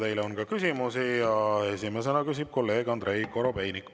Teile on ka küsimusi ja esimesena küsib kolleeg Andrei Korobeinik.